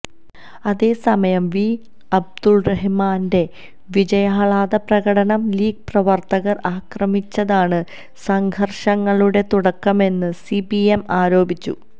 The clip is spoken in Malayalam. അതേസമയം വി അബ്ദുറഹിമാന്റെ വിജയാഹ്ലാദ പ്രകടനം ലീഗ് പ്രവര്ത്തകര് ആക്രമിച്ചതാണ് സംഘര്ഷങ്ങളുടെ തുടക്കമെന്ന് സിപിഎം ആരോപിച്ചു